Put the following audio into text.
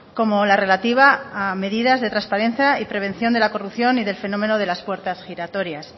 como la relativa a medidas de transparencia y prevención de la corrupción y del fenómeno de las puertas giratorias